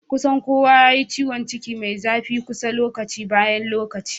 kusan kowa yayi ciwanciki Mai zafi kusa lokaci bayan lokaci